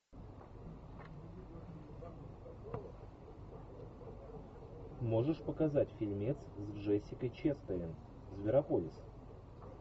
можешь показать фильмец с джессикой честейн зверополис